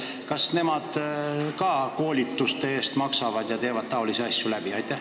Kas nemad ka koolituse eest maksavad ja teevad taolisi asju läbi?